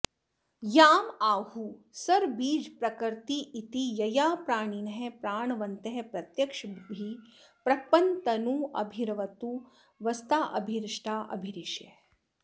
यां आहुः सर्वबीजप्रकृतिरिति यया प्राणिनः प्राणवन्तः प्रत्यक्षाभिः प्रपन्नस्तनुभिरवतु वस्ताभिरष्टाभिरीशः